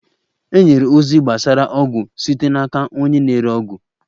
E nyere ozi gbasara ọgwụ site n'aka onye na-ere ọgwụ.